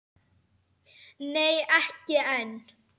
Nei, ekki enn.